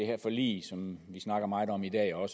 her forlig som vi snakker meget om i dag og